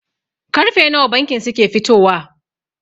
Karfe nawa bankin suke fitowa?